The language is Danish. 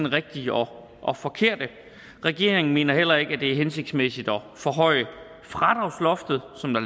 rigtige og og forkerte regeringen mener heller ikke at det er hensigtmæssigt at forhøje fradragsloftet som der